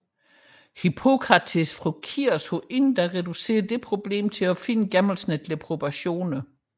Hippokrates fra Kios havde forinden reduceret dette problem til at finde gennemsnitlige proportioner